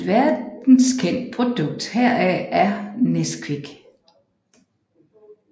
Et verdenskendt produkt heraf er Nesquick